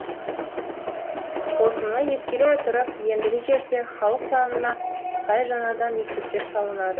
осыны ескере отырып ендігі жерде халық санына сай жаңадан мектептер салынады